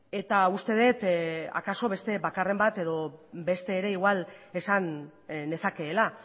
eta uste dut akaso beste bakarren bat edo beste ere igual esan nezakeela